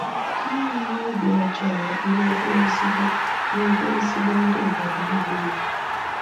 Ha enweghị obi ọjọọ n'ebe ezigbo n'ebe ezigbo ndị obodo ahụ nọ.